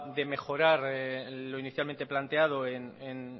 de mejorar lo inicialmente planteado en